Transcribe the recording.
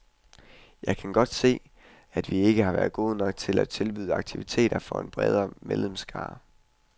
Jeg kan godt se, at vi ikke har været gode nok til at tilbyde aktiviteter for en bredere medlemsskare.